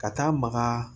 Ka taa maga